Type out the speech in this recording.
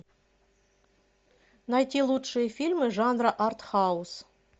найти лучшие фильмы жанра артхаус